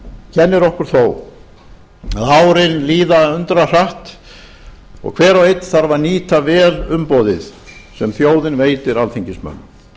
kennir okkur þó að árin líða undrahratt og hver og einn þarf að nýta vel umboðið sem þjóðin veitir alþingismönnum